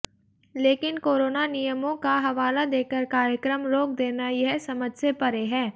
लेकिन कोरोना नियमों का हवाला देकर कार्यक्रम रोक देना यह समझ से परे है